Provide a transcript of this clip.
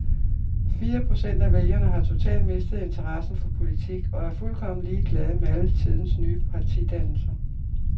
Fire procent af vælgerne har totalt mistet interessen for politik og er fuldkommen ligeglade med alle tidens nye partidannelser.